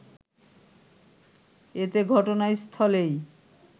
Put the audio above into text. এতে ঘটনাস্থলেই